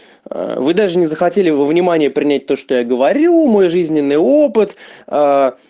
вы даже не захотели вы внимание принять то что я говорю мой жизненный опыт а